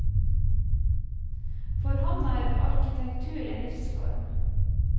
For ham er arkitektur en livsform.